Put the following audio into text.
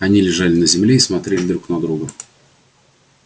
они лежали на земле и смотрели друг на друга